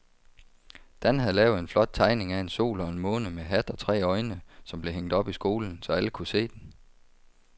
Dan havde lavet en flot tegning af en sol og en måne med hat og tre øjne, som blev hængt op i skolen, så alle kunne se den.